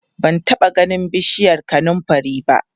ban taɓa ganin bishiyar kanumfari ba